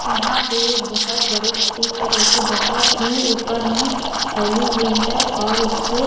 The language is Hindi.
यहाँ पे एक बहुत बड़ी नदी है जो कि बहुत ही ऊपर में फैली हुई है और उसके --